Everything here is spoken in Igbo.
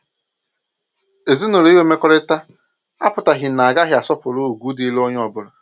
Ezinụlọ inwe mmekọrịta apụtaghị na agaghị asọpụrụ ugwu dịịrị onye ọbụla